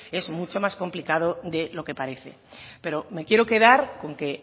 es mucho más complicado de lo que parece pero me quiero quedar con que